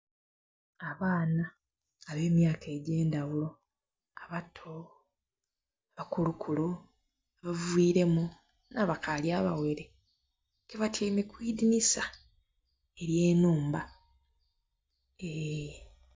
Abaana abe myaka egye ndhaghulo abato, abakulukulu, abaviremu nha bakali abaghere ke batyaime kwi dhinisa erya nhumba eee..